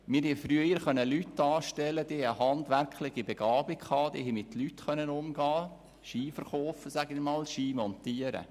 Wir konnten früher Personen mit handwerklicher Begabung anstellen, die mit Leuten umgehen und Skier verkaufen und montieren konnten.